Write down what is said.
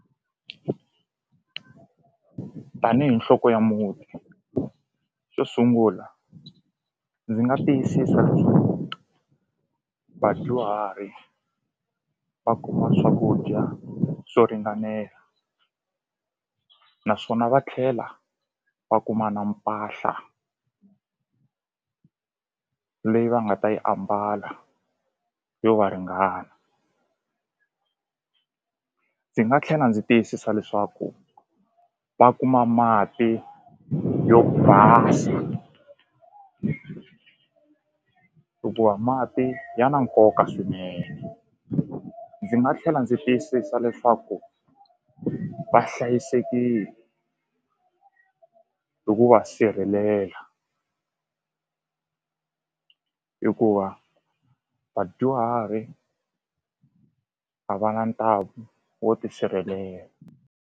Tanihi nhloko ya muti xo sungula ndzi nga tiyisisa leswaku vadyuhari va kuma swakudya swo ringanela naswona va tlhela va kuma na mpahla leyi va nga ta yi ambala yo va ringana ndzi nga tlhela ndzi tiyisisa leswaku va kuma mati yo basa hikuva mati ya na nkoka swinene ndzi nga tlhela ndzi tiyisisa leswaku va hlayisekile hi ku va sirhelela hikuva vadyuhari a va na ntamu wo tisirhelela.